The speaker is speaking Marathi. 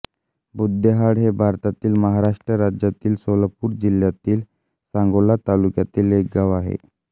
बुध्देहाळ हे भारतातील महाराष्ट्र राज्यातील सोलापूर जिल्ह्यातील सांगोला तालुक्यातील एक गाव आहे